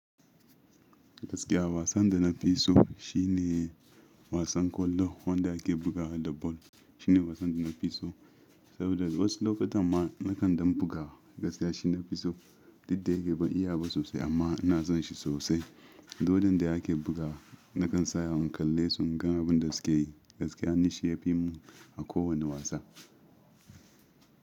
Gaskiya wasan da na fi so shine wasan kwallo wanda ake bugawa da ball. Shine wasan da na fi so saboda wasu lokutan ma, nakan ɗan buga. Gaskiya shine na fi so. Dukda yake ban iya ba sosai, amma ina son shi sosai. Duk wurin da ake bugawa, nakan tsaya in kalle su in gan abun da suke yi. Gaskiya ni shi yafi mun a ko wani wasa.